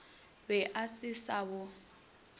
be a se sa bo